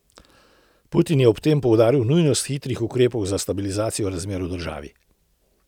Putin je ob tem poudaril nujnost hitrih ukrepov za stabilizacijo razmer v državi.